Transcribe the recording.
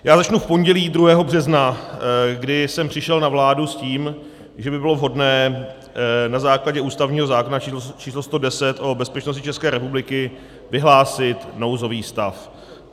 Já začnu v pondělí 2. března, kdy jsem přišel na vládu s tím, že by bylo vhodné na základě ústavního zákona číslo 110, o bezpečnosti České republiky, vyhlásit nouzový stav.